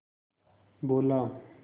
बोला